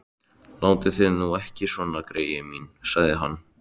Látið þið nú ekki svona, greyin mín sagði hann.